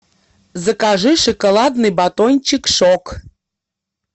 закажи шоколадный батончик шок